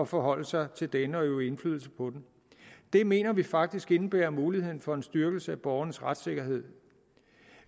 forholde sig til denne og øve indflydelse på den det mener vi faktisk indebærer muligheden for en styrkelse af borgernes retssikkerhed